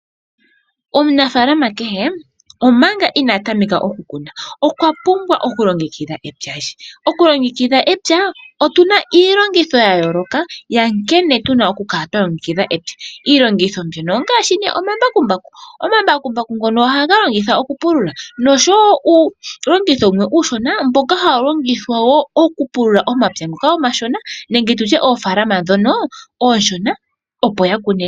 Omunafaalama kehe manga inaa tameka okukuna okwa pumbwa okulongekidha epya lye . Otuna iilongitho yayooloka yankene tuna okukala twa longekidha epya. Iilongitho mbyono ongaashi omambakumbaku. Omambakumbaku ngono ohaga longithwa okupulula noshowoo uulongitho mbono uushona mboka hawu longithwa moofaalama oonene oshowoo oonshona.